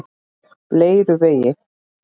Leiruvegi